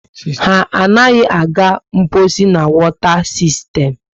Ha anaghị aga mposi na wota sistern